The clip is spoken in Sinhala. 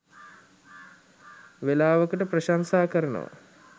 වෙලාවකට ප්‍රශංසා කරනවා.